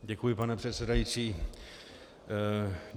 Děkuji, pane předsedající.